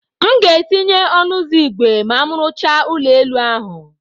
M ga-etinye ọnụ ụzọ ígwè ma m rụchaa ụlọ elu ahụ.